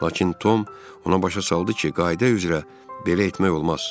Lakin Tom ona başa saldı ki, qayda üzrə belə etmək olmaz.